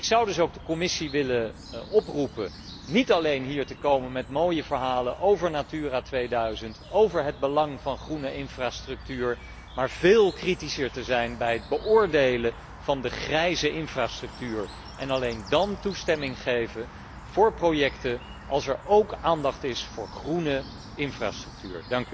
Ik zou dus ook de Commissie willen oproepen niet alleen hier te komen met mooie verhalen over Natura 2000, over het belang van groene infrastructuur, maar veel kritischer te zijn bij het beoordelen van de grijze infrastructuur en alleen dan toestemming te geven voor projecten, als er ook aandacht is voor groene infrastructuur.